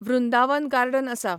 Vrindavan garden आसा.